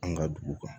An ka dugu kan